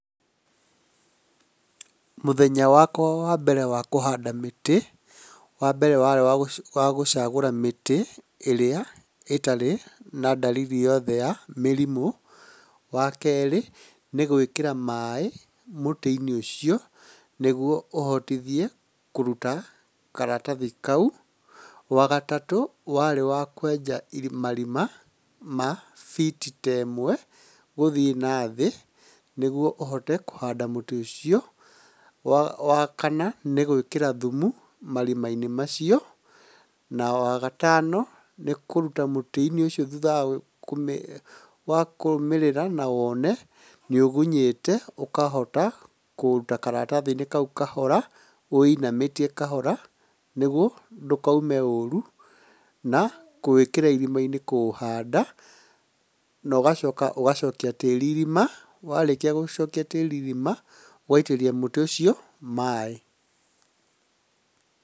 Mũthenya wakwa wa mbere wa kũhanda mĩtĩ, wambere warĩ wa gũcagũra mĩtĩ ĩrĩa ĩtarĩ na ndariri yothe ya mĩrimũ, wakerĩ nĩ gwĩkĩra maĩ mũtĩ-inĩ ũcio, nĩguo ũhotithie kũruta karatathi kau, wagatatũ warĩ wa kwenja marima ma biti temwe gũthiĩ na thĩ, nĩguo ũhote kũhanda mũtĩ ũcio, wakana nĩ gwĩkĩra thumu marima inĩ macio, na wagatano nĩ kũruta mũtĩ ũcio thutha wa kũrũmĩrĩra na woone nĩũgunyĩte ũkahota kũũruta karathathi-inĩ kau kahora ũũinamĩtie kahora nĩguo ndũkaume ũru, na kũwĩkĩra irima-inĩ kũũhanda, nogacoka ũgacokia tĩĩri irima, warĩkia gũcokia tĩĩri irima, ũgaitĩrĩria mũtĩ ũcio maĩĩ.